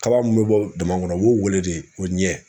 Kaba min be bɔ daman ŋɔnɔ u b'o weele de ko ɲɛ.